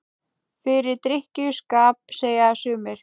Fyrir drykkju- skap, segja sumir.